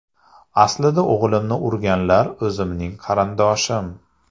Aslida o‘g‘limni urganlar o‘zimning qarindoshim.